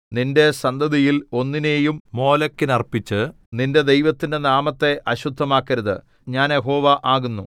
നിന്റെ സന്തതിയിൽ ഒന്നിനെയും മോലെക്കിന് അർപ്പിച്ച് നിന്റെ ദൈവത്തിന്റെ നാമത്തെ അശുദ്ധമാക്കരുത് ഞാൻ യഹോവ ആകുന്നു